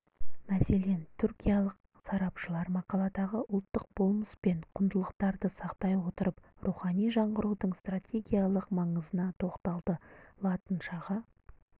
мәселен түркиялық сарапшылар мақаладағы ұлттық болмыс пен құндылықтарды сақтай отырып рухани жаңғырудың стартегиялық маңызына тоқталды латыншаға